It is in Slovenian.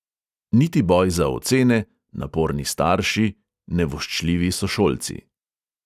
Niti boj za ocene, naporni starši, nevoščljivi sošolci ...